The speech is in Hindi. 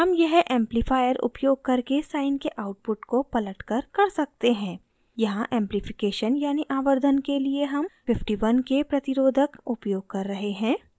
हम यह amplifier आवर्धक उपयोग करके sine के output को पलटकर कर सकते हैं यहाँ amplification यानि आवर्धन के लिए हम 51k प्रतिरोधक resistor उपयोग कर रहे हैं